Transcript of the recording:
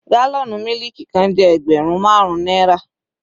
Gálọ̀nù mílìkì kan jẹ́ ẹgbẹrun marun náírà.